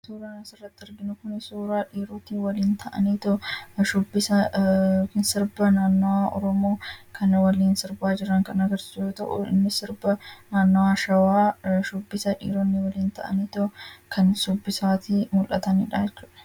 kan surana sirratti argina kun suuraa dhiirooti waliin ta'aniin sarba naannaa romoo kan waliin sarbaa jiran kan agarsi ta'uu inni sarba naannaashawaa shubbisa dhiiroonni waliin ta'anii too kan subbisaati mul'ataniidha